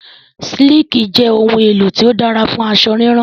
Sííkì jẹ ohun-èlò tó dára fún aṣọ rírán.